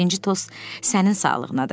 Birinci tost sənin sağlığınadır.